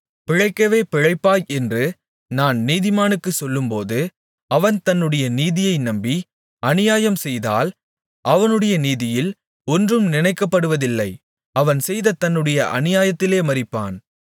பிழைக்கவே பிழைப்பாய் என்று நான் நீதிமானுக்குச் சொல்லும்போது அவன் தன்னுடைய நீதியை நம்பி அநியாயம்செய்தால் அவனுடைய நீதியில் ஒன்றும் நினைக்கப்படுவதில்லை அவன் செய்த தன்னுடைய அநியாயத்திலே மரிப்பான்